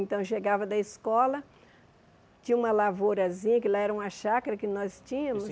Então, chegava da escola, tinha uma lavourazinha, que lá era uma chácara que nós tínhamos.